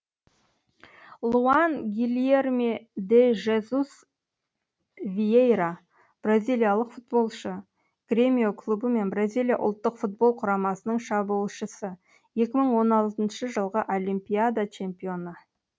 луан гильерме де жезус виейра бразилиялық футболшы гремио клубы мен бразилия ұлттық футбол құрамасының шабуылшысы екі мың он алтыншы жылғы олимпиада чемпионы